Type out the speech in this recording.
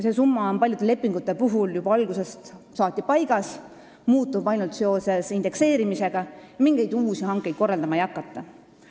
See summa on paljude lepingute puhul olnud juba algusest saati paigas, see muutub ainult indekseerimise tõttu, mingeid uusi hankeid korraldama ei hakata.